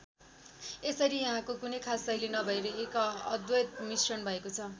यसरी यहाँको कुनै खास शैली नभएर एक अद्भुत मिश्रण भएको छ।